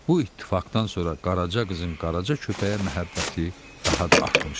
Bu ittifaqdan sonra Qaraca qızın Qaraca köpəyə məhəbbəti daha da artmışdı.